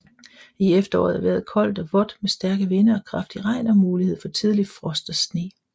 I efteråret er vejret koldt og vådt med stærke vinde og kraftig regn og mulighed for tidlig frost og sne